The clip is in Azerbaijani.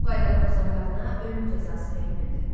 Bu qaydanı pozan qadına ölüm cəzası verilirdi.